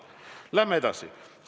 Läheme edasi!